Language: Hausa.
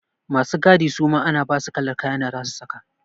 Masu gadi suma ana basu kalar kayan da zasu saka.